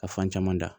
Ka fan caman da